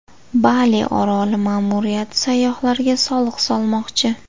Bali oroli ma’muriyati sayyohlarga soliq solmoqchi.